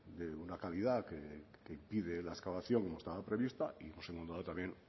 de una calidad que impide la excavación que estaba prevista hemos encontrado también